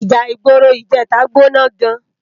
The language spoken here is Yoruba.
Íjà igbóró ijètá gbóná gán